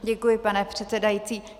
Děkuji, pane předsedající.